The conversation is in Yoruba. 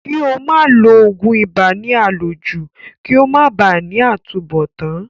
Kí ó máa lo ògùn ibà ní àlòjù kí ó máa ba à ní àtúnbọ̀tán